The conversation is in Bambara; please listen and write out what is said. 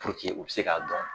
Puruke u be se k'a dɔn